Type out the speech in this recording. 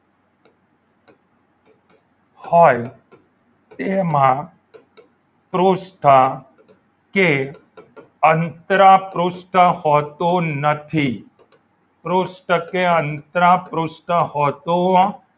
હોય એમાં પૃષ્ઠ કે અંતરા પૃષ્ઠ હોતું નથી પૃષ્ઠ કે અંતરા પૃષ્ઠ હોતું